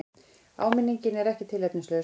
Áminningin er ekki tilefnislaus.